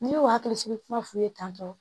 N'i y'o hakili sigi kuma f'u ye tan tɔn